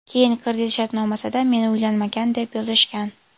Keyin kredit shartnomasida meni uylanmagan, deb yozishgan.